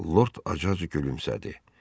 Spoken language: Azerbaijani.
Lord acı-acı gülümsədi.